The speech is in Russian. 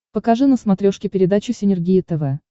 покажи на смотрешке передачу синергия тв